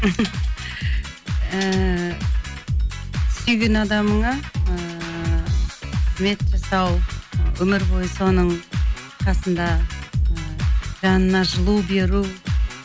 ііі сүйген адамыңа ыыы қызмет жасау өмір бойы соның қасында ы жанына жылу беру